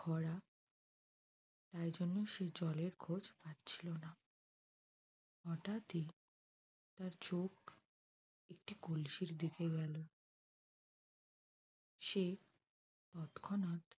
খরা তাই জন্যে সে জলের খোঁজ পাচ্ছিল না। হঠাৎই তার চোখ একটি কলসির দিকে গেল। সে তৎক্ষনাত